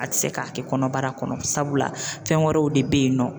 A te se ka kɛ kɔnɔbara kɔnɔ ,sabula fɛn wɛrɛw de be yen nɔ.